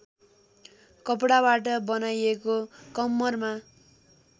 कपडाबाट बनाइएको कम्मरमा